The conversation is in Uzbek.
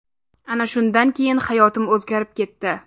Ana shundan keyin hayotim o‘zgarib ketdi.